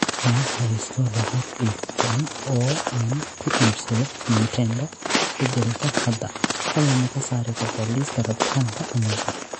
Ma haysto lacag igu filan oo aan ku iibsado nintendo beddelka hadda, fadlan ma ka saari kartaa liiska rabitaanka amazon